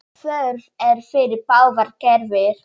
Þörf er fyrir báðar gerðir.